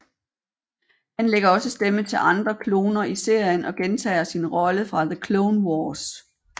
Han lægger også stemme til andre kloner i serien og gentager sin rolle fra The Clone Wars